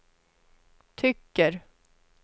tycker